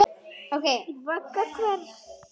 Vagga hvers?